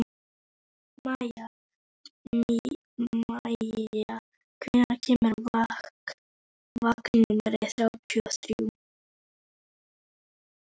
Maia, hvenær kemur vagn númer þrjátíu og þrjú?